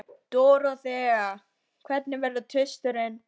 Dorothea, hvenær kemur tvisturinn?